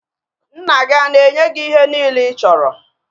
Nna gị ana-enye gị ihe niile ị chọrọ